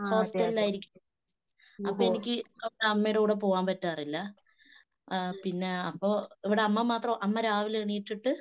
ഹോസ്റ്റലിലായിരിക്കും. അപ്പൊ എനിക്ക് അമ്മയുടെ കൂടെ പോകാൻപറ്റാറില്ല. ഏഹ് പിന്നെ അപ്പൊ ഇവിടെ അമ്മ മാത്രം. അമ്മ രാവിലെ എണീറ്റിട്ട്